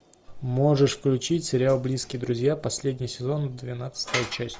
можешь включить сериал близкие друзья последний сезон двенадцатая часть